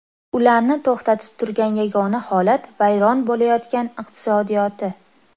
Ularni to‘xtatib turgan yagona holat vayron bo‘layotgan iqtisodiyoti.